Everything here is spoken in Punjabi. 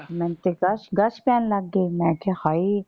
ਮੈਨੂੰ ਤੇ ਗ਼ਸ਼ ਗ਼ਸ਼ ਪੈਣ ਲੱਗ ਗਏ। ਮੈਂ ਕਿਹਾ ਹਾਏ।